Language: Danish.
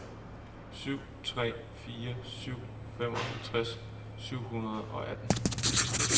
syv tre fire syv femoghalvtreds syv hundrede og atten